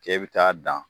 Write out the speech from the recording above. K'e bɛ taa dan